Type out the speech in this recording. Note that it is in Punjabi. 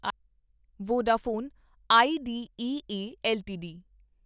Vodafone Idea LTD